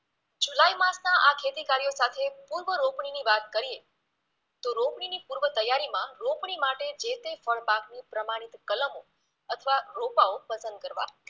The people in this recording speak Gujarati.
જુલાઈ માસના આ ખેતીકાર્યો સાથે પૂર્વરોપણીની વાત કરીએ તો રોપણીની પૂર્વતૈયારીમાંં રોપણી માટે જે તે ફળપાકની પ્રમાણિત કલમો અથવા રોપાઓ પસંદ કરવા